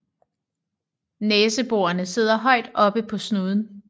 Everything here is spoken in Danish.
Næseborene sidder højt oppe på snuden